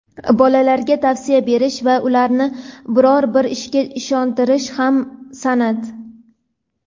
bolalarga tavsiya berish va ularni biror bir ishga ishontirish ham san’at.